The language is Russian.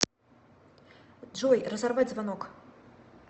джой разорвать звонок